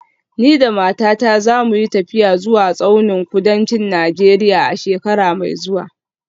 Ni da matata za mu yi tafiya zuwa tsaunin kudancin Najeriya a shekara mai zuwa